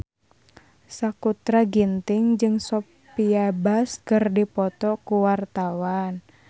Sakutra Ginting jeung Sophia Bush keur dipoto ku wartawan